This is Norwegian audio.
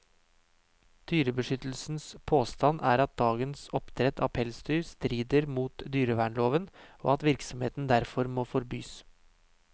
Dyrebeskyttelsens påstand er at dagens oppdrett av pelsdyr strider mot dyrevernloven, og at virksomheten derfor må forbys.